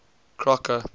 crocker